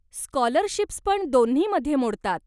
Scholarships पण दोन्हीमध्ये मोडतात.